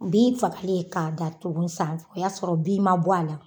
Bin faga'en k'a datugu san o y'a sɔrɔ bin ma bɔ a la.